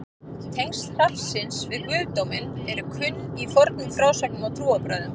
tengsl hrafnsins við guðdóminn eru kunn í fornum frásögnum og trúarbrögðum